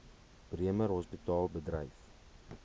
bremer hospitaal bedryf